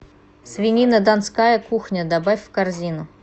свинина донская кухня добавь в корзину